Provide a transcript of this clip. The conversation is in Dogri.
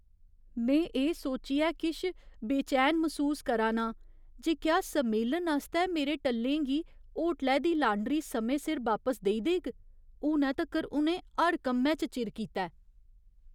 में एह् सोचियै किश बेचैन मसूस करा ना आं जे क्या सम्मेलन आस्तै मेरे टल्लें गी होटलै दी लांडरी समें सिर बापस देई देग। हुनै तक्कर, उ'नें हर कम्मै च चिर कीता ऐ।